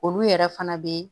Olu yɛrɛ fana bɛ